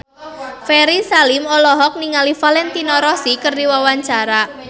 Ferry Salim olohok ningali Valentino Rossi keur diwawancara